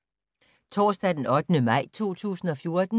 Torsdag d. 8. maj 2014